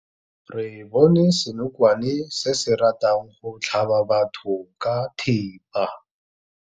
Re bone senokwane se se ratang go tlhaba batho ka thipa.